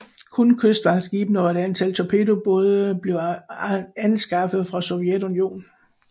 Kun kystvagtskibene og et antal torpedobåde blev anskaffet fra Sovjetunionen